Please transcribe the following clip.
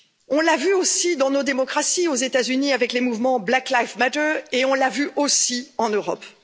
On l'a vu aussi dans nos démocraties, aux États Unis avec le mouvement Black Lives Matter et on l'a vu aussi en Europe.